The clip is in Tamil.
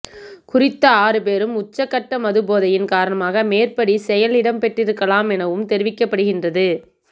குறித்த ஆறுபேரும் உச்சக் கட்ட மதுபோதையின் காரணமாக மேற்படி செயல் இடம்பெற்றிருக்கலாம் எனவும் தெரிவிக்கப்படுகின்றது